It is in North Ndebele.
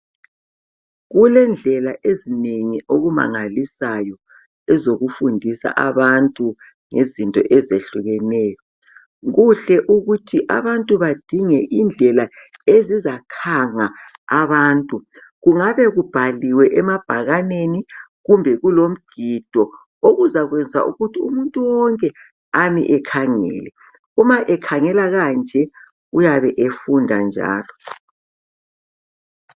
Kulendlela ezinengi okumangalisayo ezokufundisa abantu ngezinto ezihlukeneyo kuhle ukuthi abantu bedinge izinto ezizakhanga abantu kungabe kubhaliwe emabhakaneni kumbe kulomgido okuzayenza ukutji umuntu wonke ame ekhangele uma ekhangela kanje uyabe efunda njalo.